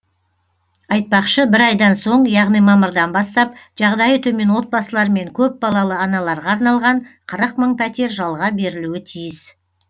айтпақшы бір айдан соң яғни мамырдан бастап жағдайы төмен отбасылар мен көпбалалы аналарға арналған қырық мың пәтер жалға берілуі тиіс